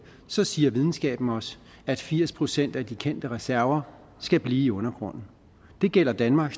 så siger videnskaben os at firs procent af de kendte reserver skal blive i undergrunden det gælder danmark